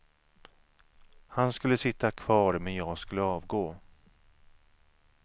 Han skulle sitta kvar, men jag skulle avgå.